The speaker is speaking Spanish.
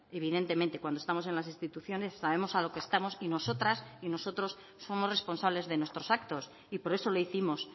evidentemente cuando estamos en las instituciones sabemos a lo que estamos y nosotras y nosotros somos responsables de nuestros actos y por eso lo hicimos